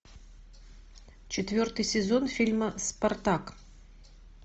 четвертый сезон фильма спартак